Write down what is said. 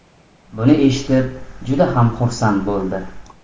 Buni eshitib juda ham xursand bo‘ldi.